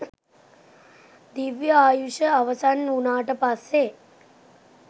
දිව්‍ය ආයුෂ අවසන් වුනාට පස්සේ